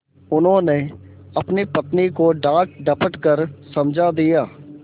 उन्होंने अपनी पत्नी को डाँटडपट कर समझा दिया